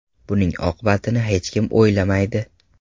Buning oqibatini hech kim o‘ylamaydi.